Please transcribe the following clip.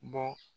Bɔ